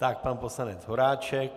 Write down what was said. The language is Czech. Tak pan poslanec Horáček.